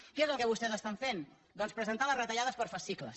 què és el que vostès estan fent doncs presentar les retallades per fascicles